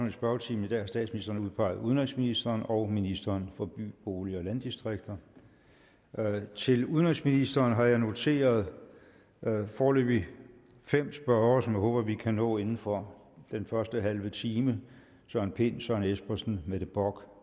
i spørgetimen i dag har statsministeren udpeget udenrigsministeren og ministeren for by bolig og landdistrikter til udenrigsministeren har jeg noteret foreløbig fem spørgere som jeg håber vi kan nå inden for den første halve time søren pind søren espersen mette bock